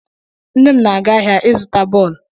Nne m na-aga ahịa ịzụta bọọlụ.